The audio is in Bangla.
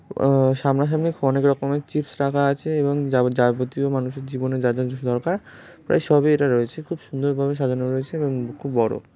উম সামনা সামনি অনেক রকমের চিপস রাখা আছে এবং যার যাবতীয় মানুষের জীবনে যাদের যা যা কিছু দরকার প্রায় সবই কিছু রয়েছে খুব সুন্দর ভাবে সাজানো রয়েছে এবং খুব বড়ো ।